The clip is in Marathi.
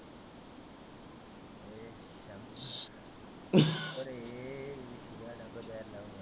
ए शिव्या नको द्यायला लावू.